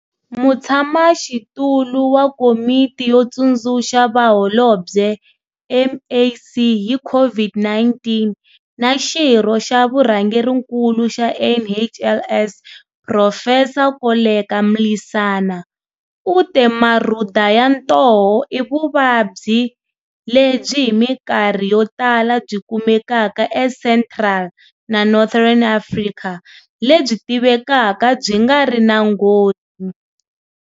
Mutshamaxitulu wa Komiti yo Tsundzuxa Vaholobye, MAC, hi COVID-19 na xirho xa Vurhangerinkulu xa NHLS, Phurofesa Koleka Mlisana, u te Marhuda ya ntoho i vuvabyi lebyi hi mikarhi yotala byi kumekaka eCentral na Northern Africa lebyi tivekaka byi nga ri na nghozi.